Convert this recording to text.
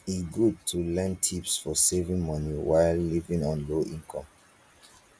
e good to learn tips for saving money while living on low income